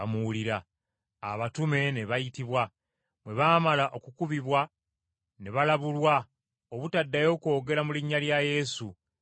Abatume ne bayitibwa, bwe baamala okukubibwa ne balabulwa obutaddayo kwogera mu linnya lya Yesu, ne babata.